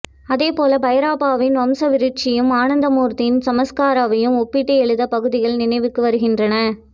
அதேபோல பைரப்பாவின் வம்ச விருட்சாவையும் அனந்தமூர்த்தியின் சம்ஸ்காராவையும் ஒப்பிட்டு எழுதிய பகுதிகள் நினைவுக்கு வருகின்றன